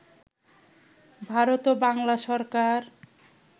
ভারত ও বাংলা সরকার